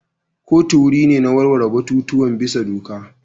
Kotu wuri ne na warware batutuwan bisa doka.